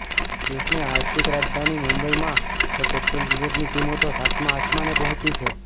દેશની આર્થિક રાજધાની મુંબઈમાં તો પેટ્રોલ ડીઝલની કિંમતો સાતમા આસમાને પહોંચી છે